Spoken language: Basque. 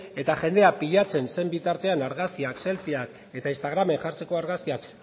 eta jendea pilatzen zen bitartean argazkiak selfiak eta instagramen jartzeko argazkiak